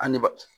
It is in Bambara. An ne ba